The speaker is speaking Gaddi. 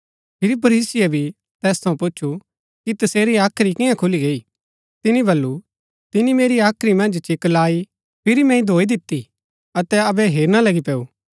फिरी फरीसीये भी तैस थऊँ पुछु कि तसेरी हाख्री कियां खुली गई तिनी बल्लू तिनी मेरी हाख्री मन्ज चिक्क लाई फिरी मैंई धोई दिती अतै अबै हेरणा लगी पैंऊ